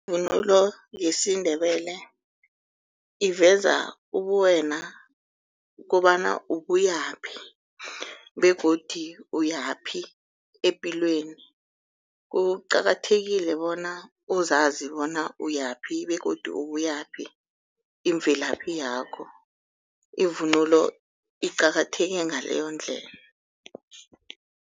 Ivunulo yesiNdebele iveza ubuwena kobana ubuyaphi begodu uyaphi epilweni. Kuqakathekile bona uzazi bona uyaphi begodu ubuyaphi imvelaphi yakho ivunulo iqakatheke ngaleyondlela.